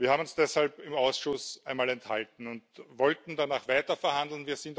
Wir haben uns deshalb im Ausschuss einmal enthalten und wollten danach weiterverhandeln.